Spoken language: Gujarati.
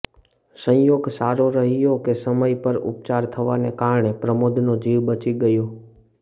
સંયોગ સારો રહ્યો કે સમય પર ઉપચાર થવાને કારણે પ્રમોદનો જીવ બચી ગયો